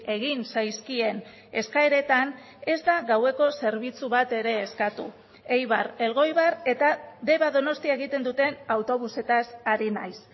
egin zaizkien eskaeretan ez da gaueko zerbitzu bat ere eskatu eibar elgoibar eta deba donostia egiten duten autobusetaz ari naiz